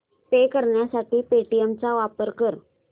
पे करण्यासाठी पेटीएम चा वापर कर